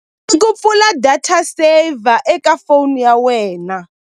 I ku pfula data saver eka phone ya wena.